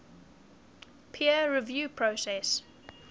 peer review process